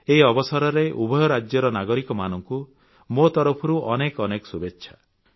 ଏହି ଅବସରରେ ଉଭୟ ରାଜ୍ୟର ନାଗରିକମାନଙ୍କୁ ମୋ ତରଫରୁ ଅନେକ ଅନେକ ଶୁଭେଚ୍ଛା